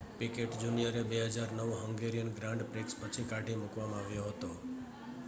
picked જુનિયરને 2009 Hungarian Grand Prix પછી કાઢી મૂકવામાં આવ્યો હતો